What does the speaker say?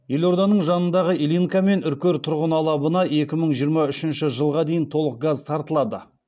елорданың жанындағы ильинка мен үркер тұрғын алабына екі мың жиырма үшінші жылға дейін толық газ тартылады